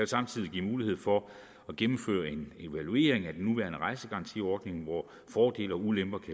samtidig give mulighed for at gennemføre en evaluering af den nuværende rejsegarantiordning hvor fordele og ulemper kan